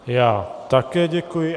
Já také děkuji.